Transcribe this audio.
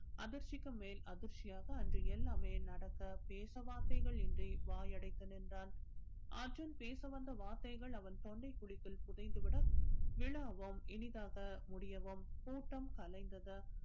அதிர்ச்சிக்கும் மேல் அதிர்ச்சியாக அன்று எல்லாமே நடக்க பேச வார்த்தைகள் இன்றி வாயடைத்து நின்றான் அர்ஜுன் பேச வந்த வார்த்தைகள் அவன் தொண்டைக் குழிக்குள் புதைந்து விட விழாவும் இனிதாக முடியவும் கூட்டம் கலைந்தது